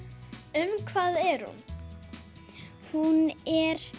um hvað er hún hún er